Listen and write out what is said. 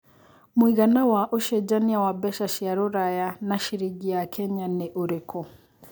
mũigana wa ũcenjanĩa wa mbeca cia rũraya na ciringi ya Kenya ni ũrĩkũ